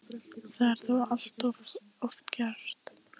Það er þó allt of oft gert.